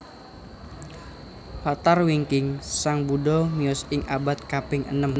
Latar wingkingSang Buddha miyos ing abad kaping enem